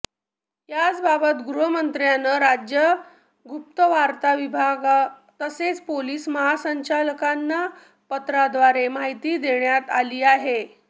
याबाबत गृहमंत्रालयानं राज्य गुप्तवार्ता विभाग तसेच पोलीस महासंचालकांना पत्राद्वारे माहिती देण्यात आली आहे